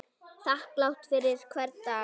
Þakklát fyrir hvern dag.